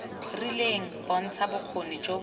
rileng bontsha bokgoni jo bo